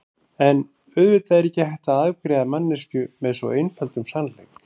En auðvitað er ekki hægt að afgreiða manneskju með svo einföldum sannleik.